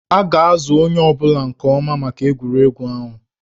A ga-azụ onye ọ bụla nke ọma maka egwuregwu ahụ